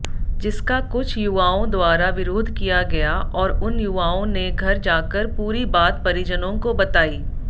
जिसका कुछ युवाओंद्वारा विरोध किया गया और उन युवाओंने घर जाकर पूरी बात परिजनोंको बताई